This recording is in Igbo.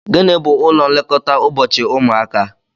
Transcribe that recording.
Gịnị bú ụlọ nlekọta ụbọchị ụmụaka?